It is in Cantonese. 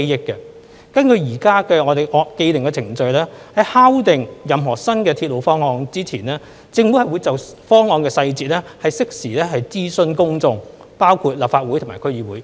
根據現時的既定程序，在敲定任何新鐵路方案前，政府會就方案細節適時諮詢公眾，包括立法會及區議會。